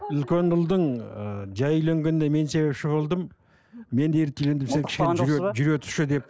үлкен ұлдың ыыы жай үйленгеніне мен себепші болдым мен сен кішкене жүре тұршы деп